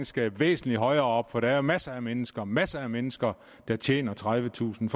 skal væsentlig højere op for der er masser af mennesker masser af mennesker der tjener tredivetusind